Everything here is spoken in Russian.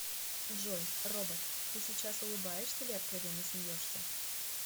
джой робот ты сейчас улыбаешься или откровенно смеешься